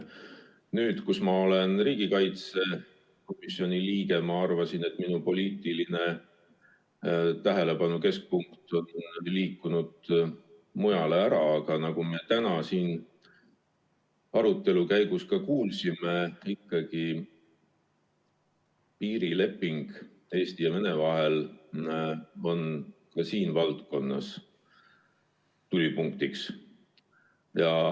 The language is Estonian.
Nüüd, kui ma olen riigikaitsekomisjoni liige, ma arvasin, et minu poliitilise tähelepanu keskpunkt on liikunud mujale, aga nagu me täna siin arutelu käigus kuulsime, ikkagi piirileping Eesti ja Venemaa vahel on tulipunktis.